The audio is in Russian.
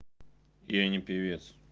я не певец